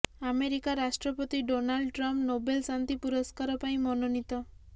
America ରାଷ୍ଟ୍ରପତି Donald Trump Nobel ଶାନ୍ତି ପୁରସ୍କାର ପାଇଁ ମନୋନୀତ